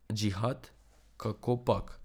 Džihad, kakopak.